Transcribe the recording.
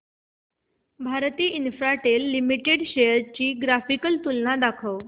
Bharti Infratel Limited shares ची graphical तुलना दाखव